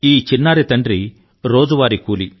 ఈ చిన్నారి తండ్రి రోజువారీ కూలీ